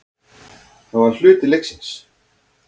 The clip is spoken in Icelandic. Það var hluti leiksins.